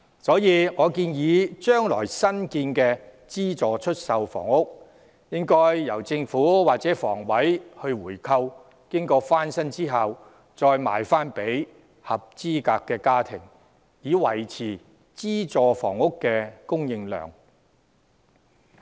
所以，我建議將來新建的資助出售房屋，應由政府和房委會回購，經過翻新後再售予合資格的家庭，以維持資助房屋的供應量。